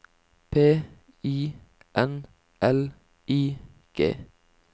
P I N L I G